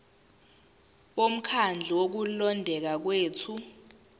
bomkhandlu wokulondeka kwethu